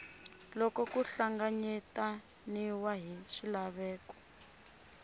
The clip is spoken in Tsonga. loko ku hlanganyetaniwe na swilaveko